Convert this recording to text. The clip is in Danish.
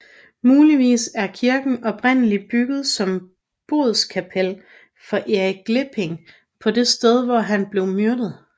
Muligvis er kirken oprindelig bygget som bodskapel for Erik Glipping på det sted hvor han blev myrdet